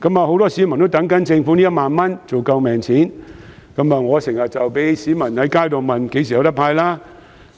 很多市民在等政府這1萬元"救命錢"，我亦經常被市民問及何時"派錢"。